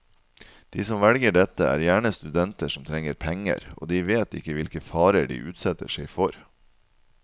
De som velger dette, er gjerne studenter som trenger penger, og de vet ikke hvilke farer de utsetter seg for.